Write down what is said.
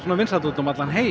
vinsæll út um allan heim